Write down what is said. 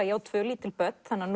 ég á tvö lítil börn þannig að